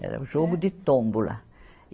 Era o jogo de tômbola.